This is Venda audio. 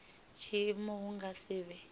tshiimo hu nga si vhe